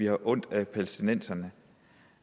har ondt af palæstinenserne